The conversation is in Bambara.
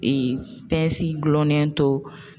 gulonnen to